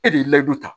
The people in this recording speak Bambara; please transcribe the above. E de ye layidu ta